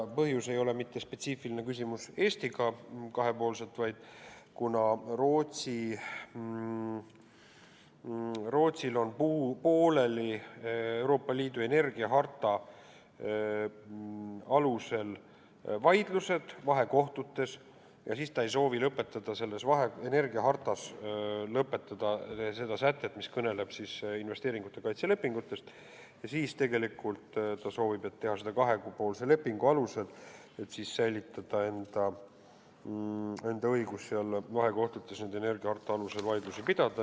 Põhjus ei ole mingi spetsiifiline küsimus Eestiga kahepoolselt, vaid see, et kuna Rootsil on pooleli Euroopa Liidu energiaharta alusel vaidlused vahekohtutes ja ta ei soovi lõpetada energiahartas seda sätet, mis kõneleb investeeringute kaitse lepingutest, siis ta soovib seda teha kahepoolse lepingu alusel, selleks et säilitada enda õigus seal vahekohtutes energiaharta alusel vaidlusi pidada.